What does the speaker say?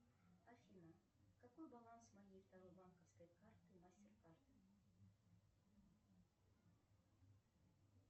афина какой баланс моей второй банковской карты мастеркард